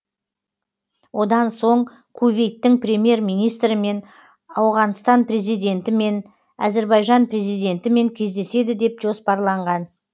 одан соң кувейттің премьер министрімен ауғанстан президентімен әзірбайжан президентімен кездеседі деп жоспарланған